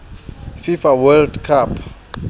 fifa world cup